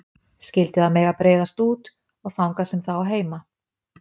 Skyldi það mega breiðast út, og þangað sem það á heima.